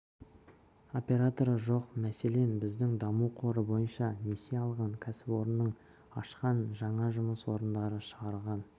операторы жоқ мәселен біз даму қоры бойынша несие алған кәсіпорынның ашқан жаңа жұмыс орындары шығарған